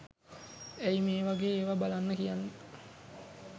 ඇයි මේ වගේ ඒවා බලන්න කියන්නෙ